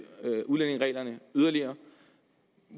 udlændingereglerne yderligere